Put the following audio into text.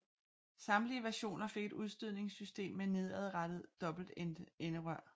Samtlige versioner fik et udstødningssystem med nedadrettet dobbeltenderør